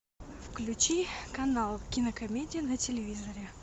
включи канал кинокомедия на телевизоре